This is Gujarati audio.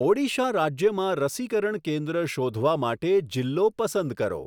ઓડીશા રાજ્યમાં રસીકરણ કેન્દ્ર શોધવા માટે જિલ્લો પસંદ કરો.